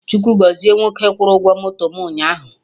Chukwu gọzie nwoke kwụrụ ụgwọ moto mụ ụnyaahụ